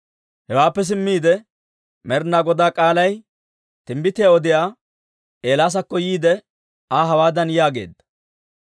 Hewaappe simmiide Med'inaa Godaa k'aalay timbbitiyaa odiyaa Eelaasakko yiide Aa hawaadan yaageedda;